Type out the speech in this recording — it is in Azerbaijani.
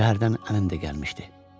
Şəhərdən anam da gəlmişdi.